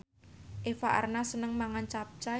Eva Arnaz seneng mangan capcay